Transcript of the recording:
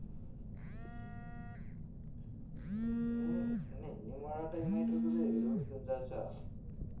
ஏய் என்ன இன்னுமாடா time ஆயிட்டு இருக்குது இருபத்தி அஞ்சு ஆச்சா